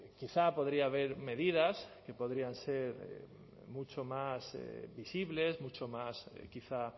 quizá podría haber medidas que podrían ser mucho más visibles mucho más quizá